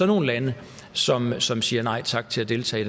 nogle lande som som siger nej tak til at deltage